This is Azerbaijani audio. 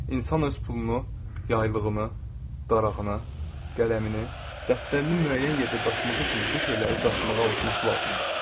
İnsan öz pulunu, yaylığını, darağını, qələmini, dəftərini müəyyən yerdə daşıması üçün bu şeyləri daşımağa alışması lazımdır.